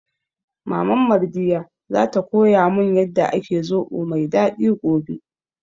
Maman Mardiyya za ta koya mun yanda ake zobo mai daɗi gobe